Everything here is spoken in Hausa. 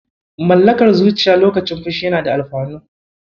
Mallakar zuciya lokacin fushi yana da alfanu.